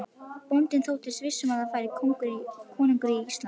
Bóndi þóttist viss um að þar færi konungur Íslands.